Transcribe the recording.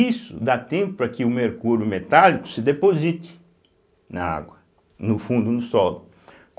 Isso dá tempo para que o mercúrio metálico se deposite na água, no fundo do solo.